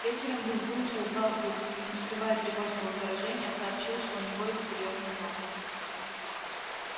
вечером визгун созвал их и не скрывая тревожного выражения сообщил что у него есть серьёзные новости